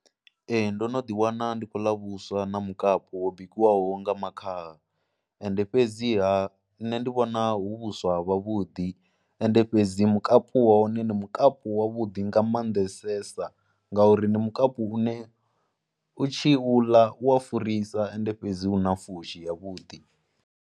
Ee ndo no ḓiwana ndi khou ḽa vhuswa na mukapu wo bikiwaho nga makhaha ende fhedziha nṋe ndi vhona hu vhuswa vhavhuḓi ende fhedzi mukapu hone ndi mukapu wavhuḓi nga maanḓesesa ngauri ndi mukapu une u tshi vhu ḽa, u ya farisa ende fhedzi u na fushi yavhuḓi.